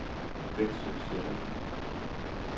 Veksø Sjælland